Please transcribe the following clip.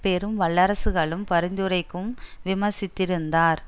பெரும் வல்லரசுகளும் பரிந்துரைக்கும் விமர்சித்திருந்தார்